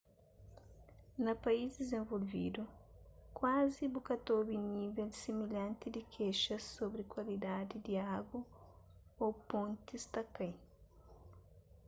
na país dizenvolvidu kuazi bu ka ta obi nível similhanti di kexas sobri kualidadi di agu ô pontis ta kai